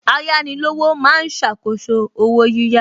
Ayánilówó ma ń ṣàkóso owó yíyá